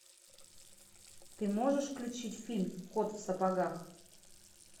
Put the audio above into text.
ты можешь включить фильм кот в сапогах